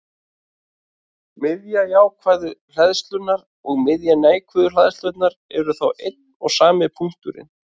Miðja jákvæðu hleðslunnar og miðja neikvæðu hleðslunnar eru þá einn og sami punkturinn.